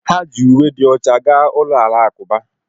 Ha ji uwe dị ọcha gaa ụlọ alakụba